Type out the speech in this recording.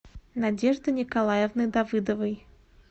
надежды николаевны давыдовой